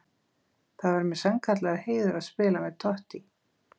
Það væri mér sannkallaður heiður að spila með Totti.